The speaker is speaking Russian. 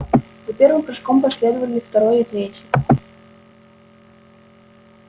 за первым прыжком последовали второй и третий